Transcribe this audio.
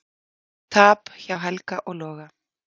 Tap hjá Helga og Loga